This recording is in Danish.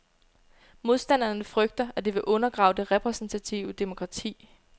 Modstanderne frygter, at det vil undergrave det repræsentative demokrati.